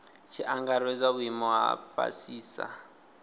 tshi angaredzwa vhuimo ha fhasisa